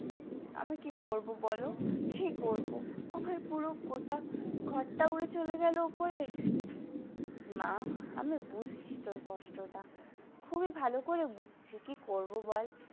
আমি কি করবো বলো কি করবো আমার পুরো গোটা ঘর টা ঊড়ে চলে গেল উপরের মা আমি বুঝছি তোর কষ্টটা খুবই ভালো করে বুঝছি কি করবো বল।